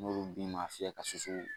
N'ulu bin man fiyɛ ka susu